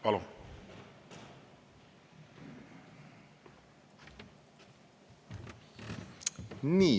Palun!